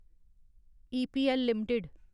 EPL limited